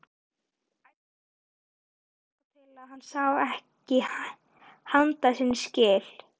Æddi áfram þangað til hann sá ekki handa sinna skil.